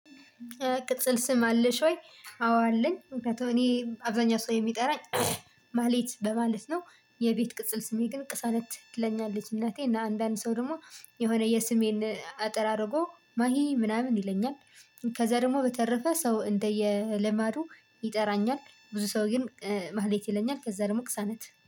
ቅጽል ስም አለሽ ወይ? አዎ አለኝ ምክንያቱም እኔ አብዛኛው ሰው የሚጠራኝ ማህሌት በማለት ነው። የቤት ቅጽል ስሜ ግን ቅሳነት ትለኛለች እናቴ እና አንዳንድ ሰው ደግሞ የሆነ የስሜን አጠር አድርጎ ማሂ ምናምን ይለኛል። ከዛ ደግሞ በተረፈ ሰው እንደየ ልማዱ ይጠራኛል ብዙ ሰው ግን ማህሌት ይለኛል ከዛ ደግሞ ቅሳነት